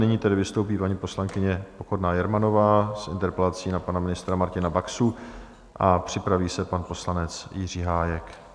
Nyní tedy vystoupí paní poslankyně Pokorná Jermanová s interpelací na pana ministra Martina Baxu a připraví se pan poslanec Jiří Hájek.